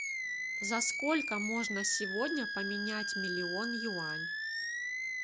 за сколько можно сегодня поменять миллион юань